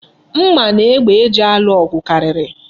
Mma na egbe eji alụ ọgụ karịrị.